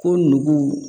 Ko nugu